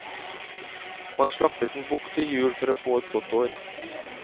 Man slaktet en bukk til jul for å få et godt år.